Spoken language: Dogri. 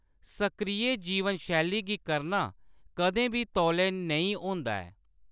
सक्रिय जीवन शैली गी करना कदें बी तौले नेईं होंदा ऐ।